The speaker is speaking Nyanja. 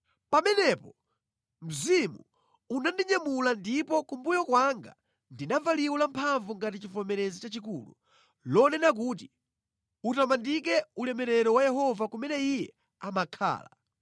Pamenepo Mzimu unandinyamula ndipo kumbuyo kwanga ndinamva liwu lamphamvu ngati chivomerezi chachikulu, lonena kuti, “Utamandike ulemerero wa Yehova kumene Iye amakhala!”